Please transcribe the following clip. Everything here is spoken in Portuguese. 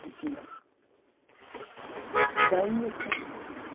Não tinha... Como Daí que Era a casa de vocês